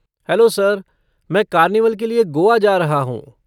Hello sir, मैं carnival के लिए गोआ जा रहा हूँ।